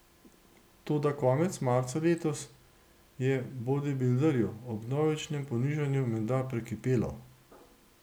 Toda konec marca letos je bodibilderju ob vnovičnem ponižanju menda prekipelo.